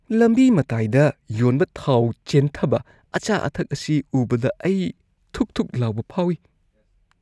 ꯂꯝꯕꯤ ꯃꯇꯥꯏꯗ ꯌꯣꯟꯕ ꯊꯥꯎ ꯆꯦꯟꯊꯕ ꯑꯆꯥ-ꯑꯊꯛ ꯑꯁꯤ ꯎꯕꯗ ꯑꯩ ꯊꯨꯛ-ꯊꯨꯛ ꯂꯥꯎꯕ ꯐꯥꯎꯋꯤ ꯫